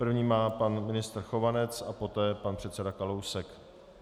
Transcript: První má pan ministr Chovanec a poté pan předseda Kalousek.